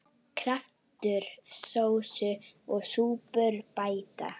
Kraftur sósu og súpur bæta.